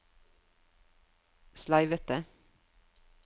sleivete